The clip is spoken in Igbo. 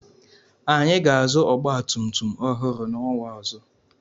Anyị ga-azụ ọgbatumtum ọhụrụ n'ọnwa ọzọ.